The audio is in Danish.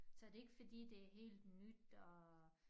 Så det ikke fordi det helt nyt og